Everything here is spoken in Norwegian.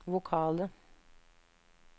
vokale